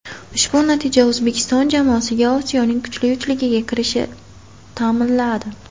Ushbu natija O‘zbekiston jamoasiga Osiyoning kuchli uchligiga kirishi ta’minladi.